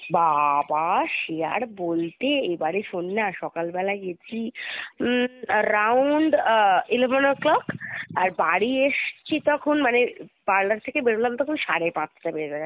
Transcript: বাবা! সে আর বলতে এবারে শোন না সকাল বেলায় গেছি হুম around eleven O'clock আর বাড়ি এসছি তখন মানে parlour থেকে বেরোলাম তখন সাড়ে পাঁচটা বেজে গেছে